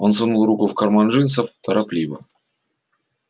он сунул руку в карман джинсов торопливо